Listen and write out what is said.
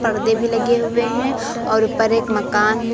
पर्दे भी लगे हुए हैं और ऊपर एक मकान है।